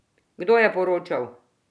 Kdo je poročal?